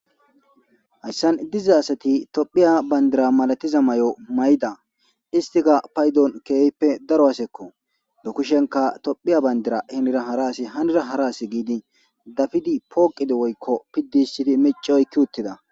hayssan diza asati tophiya bandira malatiza may7o may7da istika paydon keehppe daro asekko dokushenka tophiya bandira hinira haraasi hanira hara asi giidi dafidi pooqidi woykko piddi sidi meci oykki uttida.